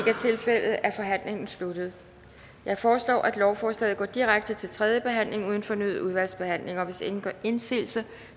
er tilfældet er forhandlingen sluttet jeg foreslår at lovforslaget går direkte til tredje behandling uden fornyet udvalgsbehandling hvis ingen gør indsigelse